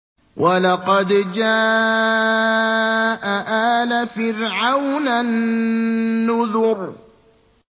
وَلَقَدْ جَاءَ آلَ فِرْعَوْنَ النُّذُرُ